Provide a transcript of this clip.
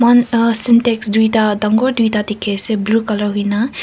moi kan uh syntex duida dangor duida dekhey ase blue colour hoina.